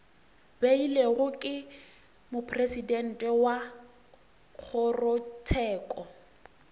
beilwego ke mopresidente wa kgorotsheko